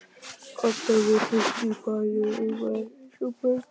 Koddar voru hristir, barðir og umvafðir eins og börn.